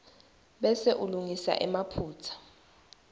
bese ulungisa emaphutsa